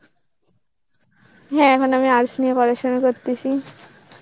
হ্যাঁ মানে আমি arts নিয় পড়শোনা করতেছি.